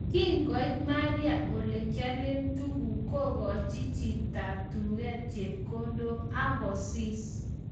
Kingoit Maria olekiale tuguk kogoch chotab duket chepkondok akosis